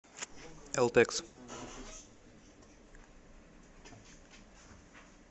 элтекс